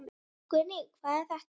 Guðný: Hvað er þetta?